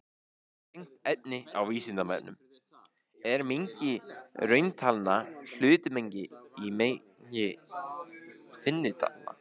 Tengt efni á Vísindavefnum: Er mengi rauntalna hlutmengi í mengi tvinntalna?